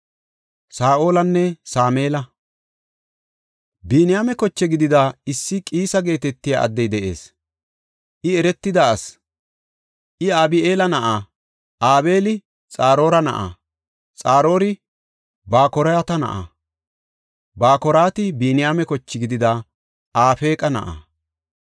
Biniyaame koche gidida issi Qiisa geetetiya addey de7ees; I eretida asi. I Abi7eela na7a; Abeeli Xaroora na7a; Xaroori Bakoraate na7a; Bakorati Biniyaame koche gidida Afeeqa na7a.